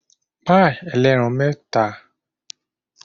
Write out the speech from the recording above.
Pàì ẹlẹ́ran mẹ́fà ní mo rà ní ọjọ́ ìsinmi.